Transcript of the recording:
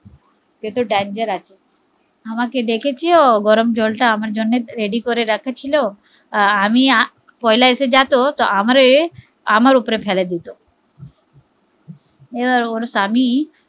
সে তো dangerous আছে আমাকে ডেকেছো গরম জল টা আমার আমার জন্য ready আঁকড়ে রাখা ছিল আমি যদি পয়লা এসেযেত তো আমারে আমার উপরে ফেলে দিতো ওর স্বামী